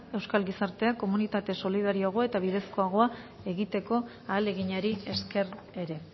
euskal gizartea komunitate solidarioago eta bidezkoagoa egiteko ahaleginari esker ere